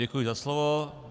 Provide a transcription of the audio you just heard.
Děkuji za slovo.